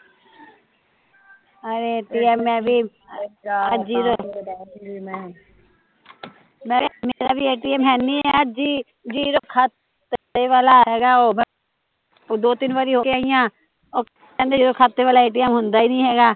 ਅਰੇ ਐਟੀਐਮ ਮੈਂ ਵੀ ਮੇਰਾ ਵੀ ਐਟੀਐਮ ਅੱਜ ਹੀਂ ਜੀਰੋ ਓਹ ਦੋ ਤਿੰਨ ਵਾਰੀ ਹੋ ਕੇ ਆਈ ਆ ਓਹ ਕਹਿੰਦੇ ਜਦੋਂ ਖਾਤੇ ਵਾਲਾ ਐਟੀਐਮ ਹੁੰਦਾ ਹੀਂ ਨੀ ਹੈਗਾ